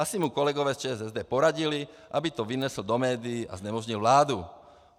Asi mu kolegové z ČSSD poradili, aby to vynesl do médií a znemožnil vládu.